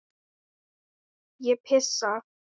Ég pissa.